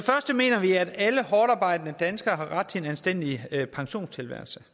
mener vi at alle hårdtarbejdende danskere har ret til en anstændig pensionstilværelse